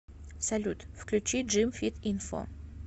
салют включи джим фит инфо